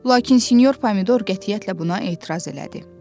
Lakin sinyor Pomidor qətiyyətlə buna etiraz elədi.